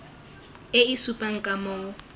e e supang ka moo